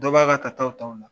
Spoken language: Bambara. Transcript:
Dɔw b'a ka ka taw t'ola la